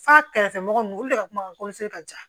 F'a kɛrɛfɛ mɔgɔ nunnu olu de ka kuma ka ja